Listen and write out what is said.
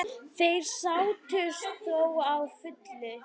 Þeir sættust þó að fullu.